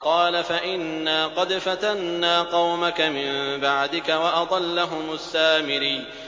قَالَ فَإِنَّا قَدْ فَتَنَّا قَوْمَكَ مِن بَعْدِكَ وَأَضَلَّهُمُ السَّامِرِيُّ